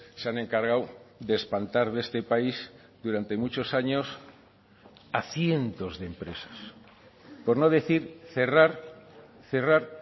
se han encargado de espantar de este país durante muchos años a cientos de empresas por no decir cerrar cerrar